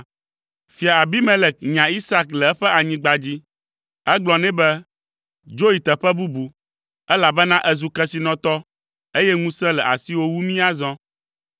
Fia Abimelek nya Isak le eƒe anyigba dzi. Egblɔ nɛ be, “Dzo yi teƒe bubu, elabena èzu kesinɔtɔ eye ŋusẽ le asiwò wu mí azɔ.”